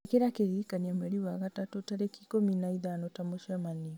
ĩkĩra kĩririkania mweri wa gatatũ tarĩki ikũmi na ithano ta mũcemanio